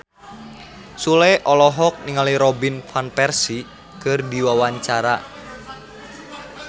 Sule olohok ningali Robin Van Persie keur diwawancara